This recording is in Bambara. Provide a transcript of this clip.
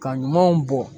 Ka ɲamanw bɔ